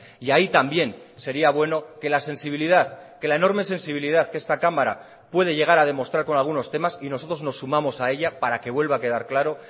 y ahí también sería bueno que la sensibilidad que la enorme sensibilidad que esta cámara puede llegar a demostrar con algunos temas y nosotros nos sumamos a ella para que vuelva a quedar claro